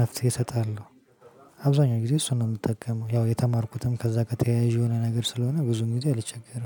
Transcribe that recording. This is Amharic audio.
መፍትሄ እሰጣለሁ። አብዛኛው ጊዜ እሱን ነው የምጠቀመው ያው የተማርኩትም ከዛ ጋር ተያያዥ የሆነ ነገር ስለሆነ ብዙን ጊዜ አልቸገረም።